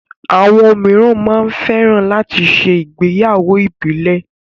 Àwọn míràn máa ń fẹ́ran láti ṣe ìgbéyàwó ìbílẹ̀